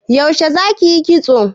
Yaushe zaki yi kitso?